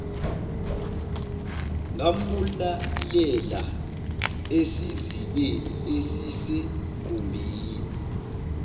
ngambulalela esizibeni esisegumbini